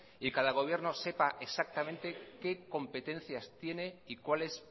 y que cada gobierno sepa exactamente qué competencias tiene y cuáles